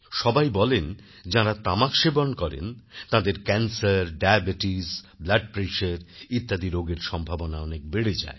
সবাই বলেন যাঁরা তামাক সেবন করেন তাদের ক্যানসের ডায়াবিটিস ব্লাড pressureইত্যাদি রোগের সম্ভাবনা অনেক বেড়ে যায়